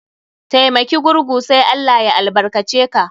Taimaki gurgu sai ALLAH ya albarka ce ka.